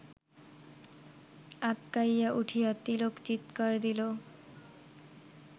আঁতকাইয়া উঠিয়া তিলক চিৎকার দিল